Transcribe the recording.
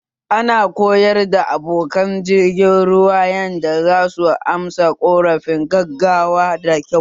Ana koyar da abokan jirgin ruwa yanda zasu amsa ƙorafin gaggawa da kyau